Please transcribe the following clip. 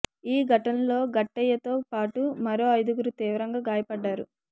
ఈ ఘటనలో గట్టయ్యతో పాటు మరో ఐదుగురు తీవ్రంగా గాయపడ్డారు